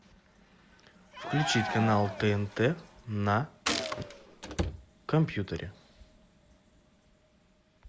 включить канал тнт на компьютере